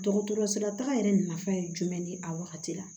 Dɔgɔtɔrɔso la taga yɛrɛ nafa ye jumɛn ni a wagati la